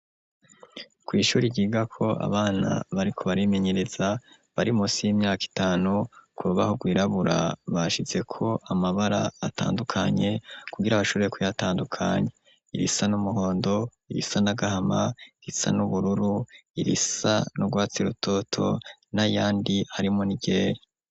Kw’ishuri ryigako abana bariko bari menyereza bari munsi y'imyaka itanu ,kurubaho gw’irabura bashizeko amabara atandukanye kugira bashobore kuyatandukanya, irisa n'umuhondo ,irisa na gahama, irisa n'ubururu ,irisa nurwatsi rototo na yandi harimwo n’iryera.